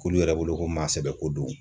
K'olu yɛrɛ bolo ko maa sɛbɛ ko don.